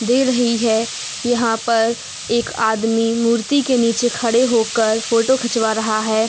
दे रही है। यहाँ पर एक आदमी मूर्ति के नीचे खड़े होकर फोटो खिंचवा रहा है।